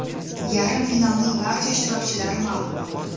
Yarim finalning barcha ishtirokchilari ma’lum bo‘ldi.